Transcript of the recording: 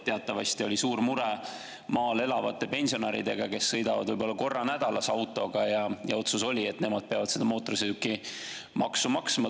Teatavasti oli suur mure maal elavate pensionäridega, kes sõidavad võib-olla korra nädalas autoga, ja otsus oli, et nemad peavad seda mootorsõidukimaksu maksma.